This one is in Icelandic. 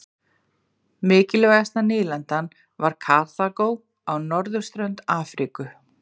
Mikilvægasta nýlendan var Karþagó á norðurströnd Afríku.